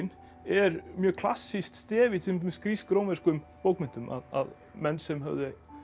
er mjög klassískt stef í til dæmis grísk rómverskum bókmenntum að menn sem höfðu